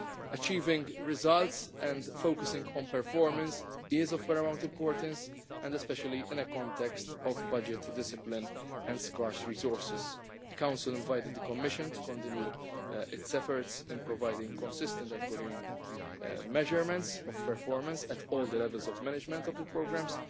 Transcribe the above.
Achieving results and focusing on performance is of paramount importance, especially in a context of budget discipline and scarce resources. The Council invited the Commission to continue its efforts in providing consistent and coherent measurements of performance at all the levels of management of the programmes